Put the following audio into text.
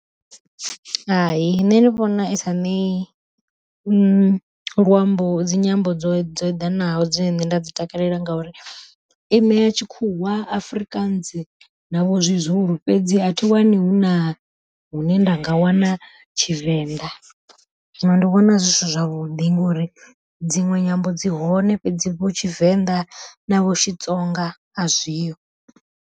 Hai nṋe ndi vhona isa ṋei luambo dzi nyimbo dzo dzo eḓanaho dzine nṋe nda dzi takalela, ngauri i ṋea tshikhuwa Afrikaans navho zwi Zulu fhedzi a thi wani hu na hune nda nga wana tshivenḓa. Zwino ndi vhona zwi si zwavhuḓi ngori dziṅwe nyambo dzi hone fhedzi vho Tshivenḓa na vho Xitsonga a zwiho.